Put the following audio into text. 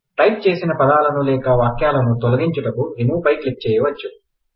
type చేసిన పదాలను లేకా వాక్యాలను తొలగించడానికి రిమూవ్ పై క్లిక్ చేయవచ్చు